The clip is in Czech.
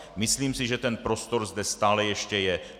Myslím si, že tento prostor zde stále ještě je.